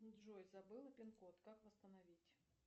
джой забыла пин код как восстановить